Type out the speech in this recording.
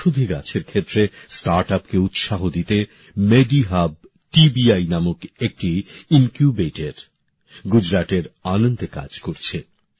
ভেষজ গাছের ক্ষেত্রে স্টার্ট আপকে উৎসাহ দিতে মেডি হাব টিবিআই নামক একটি ইনকিউবেটর গুজরাটের আনন্দে কাজ করছে